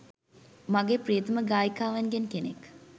මගේ ප්‍රියතම ගායිකාවන්ගෙන් කෙනෙක්